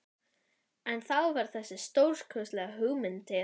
En þá varð þessi stórkostlega hugmynd til.